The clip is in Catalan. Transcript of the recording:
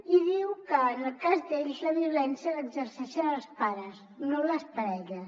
i diuen que en el cas d’ells la violència l’exerceixen els pares no les parelles